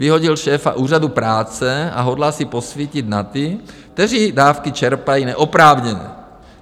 Vyhodil šéfa Úřadu práce a hodlá si posvítit na ty, kteří dávky čerpají neoprávněně.